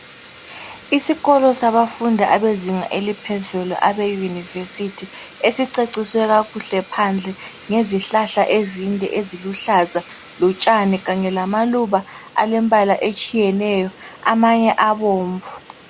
Isikolo sabafundi abezinga eliphezulu abeYunivesithi esiceciswe kakuhle phandle ngezihlahla ezinde eziluhlaza lotshani kanye lamaluba alembala etshiyeneyo amanye abomvu.